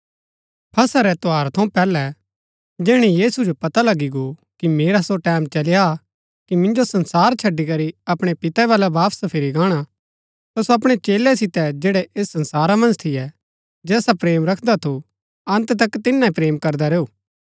फसह रै त्यौहारा थऊँ पैहलै जैहणै यीशु जो पता लगी गो कि मेरा सो टैमं चली आ कि मिन्जो संसार छड़ी करी अपणै पिते बलै वापस फिरी गाणा ता सो अपणै चेलै सितै जैड़ै ऐस संसारा मन्ज थियै जैसा प्रेम सो रखदा थू अन्त तक तिन्ना ही प्रेम करदा रैऊ